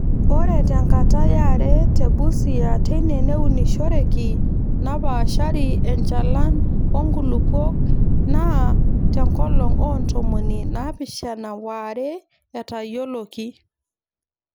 Ore te nkata yare te Busia teine neunishoreki napaashari enchalan oo nkulupuok naa Te nkolong oo ntomoni naapishana waare etayioloki.